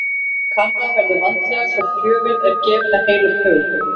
Kanna verður vandlega hvort gjöfin er gefin af heilum hug.